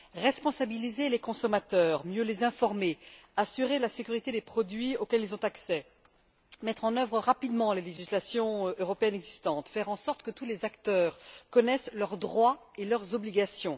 Responsabiliser les consommateurs, mieux les informer, assurer la sécurité des produits auxquels ils ont accès, mettre en œuvre rapidement la législation européenne existante, faire en sorte que tous les acteurs connaissent leurs droits et leurs obligations.